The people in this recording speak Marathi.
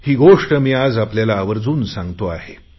ही गोष्ट आज मी आपल्याला आवर्जुन सांगतो आहे